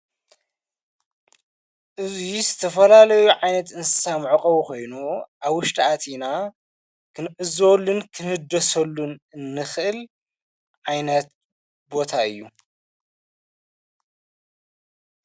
እዙይ ስተፈላለዩ ዓይነት እንሳ ምዕቐቡ ኾይኑ ኣውሽድኣቲኢና ኽንዕዘወልን ክህደሰሉን እንኽእል ዓይነት ቦታ እዩ።